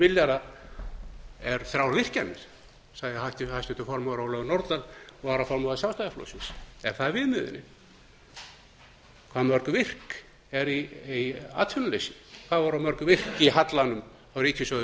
milljarða eru þrjár virkjanir segir háttvirtur þingmaður ólöf nordal varaformaður sjálfstæðisflokksins er það viðmiðunin hve mörg virk eru í atvinnuleysi hvað voru mörg virk í hallanum á ríkissjóði árið